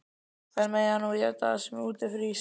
Þær mega eta það sem úti frýs!